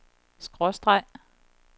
skråstreg